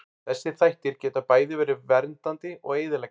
Þessir þættir geta bæði verið verið verndandi og eyðileggjandi.